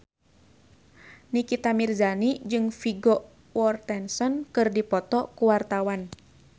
Nikita Mirzani jeung Vigo Mortensen keur dipoto ku wartawan